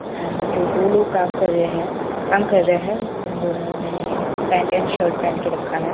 अ जो दो लोग काम कर रहे है काम कर रहे है उन दोनों ने पेंट एण्ड शर्ट पहन के रखा है।